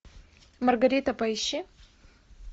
маргарита поищи